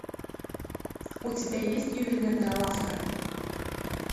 у тебя есть ювелирная лавка